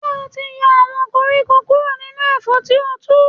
Ṣé o ti yọ àwọn koríko kúrò nínú ẹ̀fọ́ tí o tu.